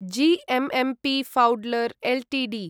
GMMP Pfaudler Ltd